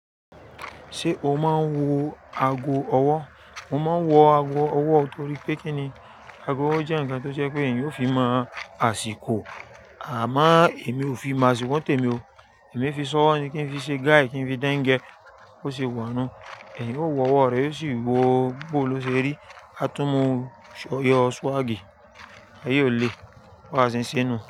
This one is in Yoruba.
Ṣé o máa ń wọ ago ọwọ́? Mo máa ń wọ ago ọwọ́ torí pé kí ni, ago jẹ́ ǹkan tó je pé èèyàn ó fi mọ àsìkò. Àmo èmi ò fi mo àsìkò ni tèmi o. Èmi fi si owọ́ ni kí n fi ṣe guide, kí n fi dẹngẹ, bó ṣe wa nu. Èèyàn ó wọ ọwọ́ rẹ̀ ó sì wo bó ló ṣe rí, a tún mú yọ swag, ayé oo le bí àwa ṣe ń ṣenu.